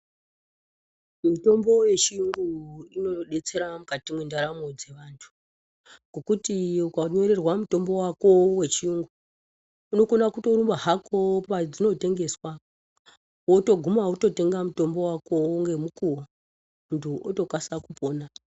Mitombo yechiyungu inodetsera mukati mwendaramo dzevantu ngokuti ukanyorerwa mutombo wako wechiyungu inokona kutorumba hako kwadzinotengeswa wotoguma wototenga mutombo wako ngemukuwo. Muntu otokasika kupona.